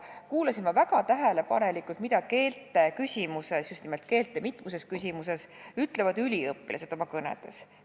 Ma kuulasin väga tähelepanelikult, mida keelte küsimuses – just nimelt mitmuses: keelte küsimuses – ütlevad üliõpilased oma kõnedes.